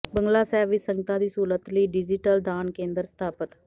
ਬੰਗਲਾ ਸਾਹਿਬ ਵਿੱਚ ਸੰਗਤਾਂ ਦੀ ਸਹੂਲਤ ਲਈ ਡਿਜੀਟਲ ਦਾਨ ਕੇਂਦਰ ਸਥਾਪਤ